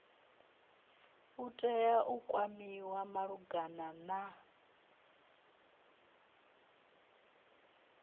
tea u kwamiwa malugana na